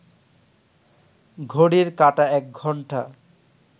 ঘড়ির কাঁটা একঘন্টা